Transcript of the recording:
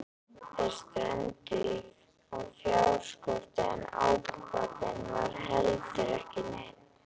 Þeir strönduðu á fjárskorti en ábatinn var heldur ekki neinn.